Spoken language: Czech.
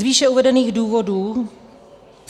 Z výše uvedených důvodů